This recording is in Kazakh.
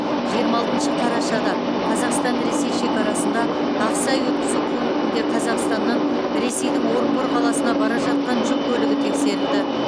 жиырма алтыншы қарашада қазақстан ресей шекарасында ақсай өткізу пунктінде қазақстаннан ресейдің орынбор қаласына бара жатқан жүк көлігі тексерілді